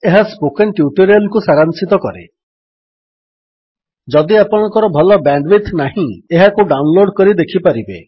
ଏହା spoken tutorial କୁ ସାରାଂଶିତ କରେ ଯଦି ଆପଣଙ୍କ ଭଲ ବ୍ୟାଣ୍ଡୱିଡଥ୍ ନାହିଁ ଏହାକୁ ଡାଉନଲୋଡ୍ କରି ଦେଖିପାରିବେ